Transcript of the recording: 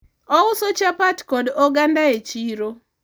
ouso chapat kod oganda e chiro